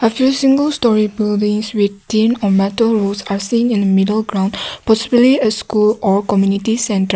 i see you single stories building with thin and metal wood have seen middle ground possibly school or committee centre.